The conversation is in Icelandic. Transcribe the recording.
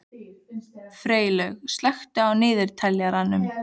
Freylaug, slökktu á niðurteljaranum.